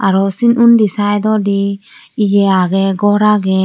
aro si undi saidodi iye agey goar agey.